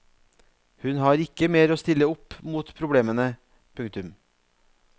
Hun har ikke mer å stille opp mot problemene. punktum